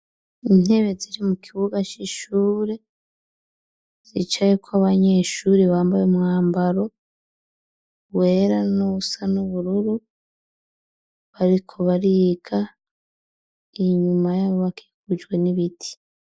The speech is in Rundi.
Intebe ziri mu kibuga c'ishure zica yuko abanyeshuri bambaye umwambaro wera nuwu n’ubururu bariko bariga inyuma yabo bakikujwe n'ibiti.